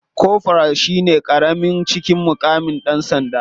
Koforal shine karami a cikin mukaman dan sanda.